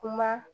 Kuma